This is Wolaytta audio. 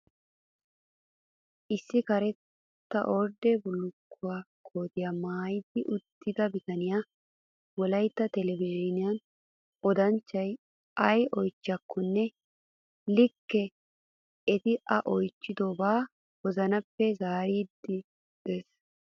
Issi karetta ordde bullukkuwaa kootiyaa maayi uttida bitaniyaa wolayitta telbejiiniyaa odanchchati ayi oyichchiyaakkonne. Ikka eti A oyichchidoba wozanappe zaariddi des.